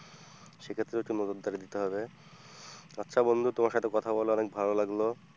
সেক্ষেত্রে একটু নজরদারি দিতে হবে। আচ্ছা বন্ধু তোমার সাথে কথা বলে অনেক ভালো লাগলো।